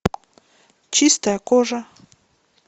чистая кожа